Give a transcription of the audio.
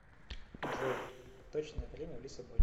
джой точное время в лиссабоне